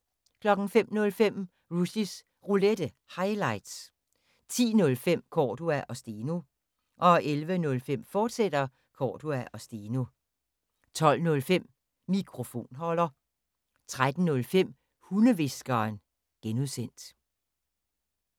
05:05: Rushys Roulette – highlights 10:05: Cordua & Steno 11:05: Cordua & Steno, fortsat 12:05: Mikrofonholder 13:05: Hundehviskeren (G)